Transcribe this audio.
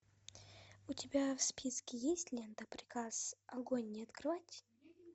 у тебя в списке есть лента приказ огонь не открывать